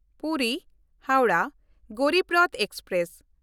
ᱯᱩᱨᱤ–ᱦᱟᱣᱲᱟᱦ Garib Rath express